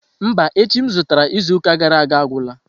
Mba, echi m zụtara izuụka gara aga agwụla.